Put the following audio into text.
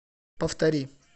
повтори